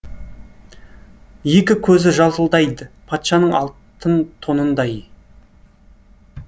екі көзі жалтылдайд патшаның алтын тонындай